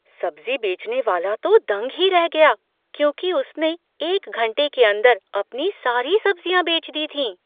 सब्ज़ी बेचने वाला तो दंग ही रह गया, क्योंकि उसने एक घंटे के अंदर अपनी सारी सब्ज़ियां बेच दी थीं।